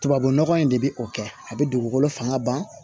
Tubabunɔgɔ in de bɛ o kɛ a bɛ dugukolo fanga ban